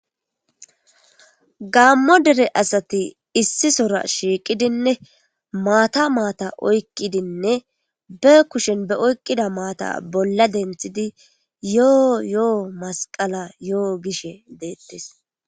Gammo dere asati issi sora shiiqidinne maata maata oykqidinne be kushen be oyqqida maata bolla denthidi yoo yo7o masqala yo7o gishe deettes